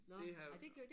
Det har jeg